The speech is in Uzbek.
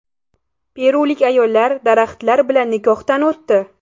Perulik ayollar daraxtlar bilan nikohdan o‘tdi .